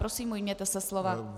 Prosím, ujměte se slova.